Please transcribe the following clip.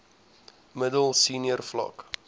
middel senior vlak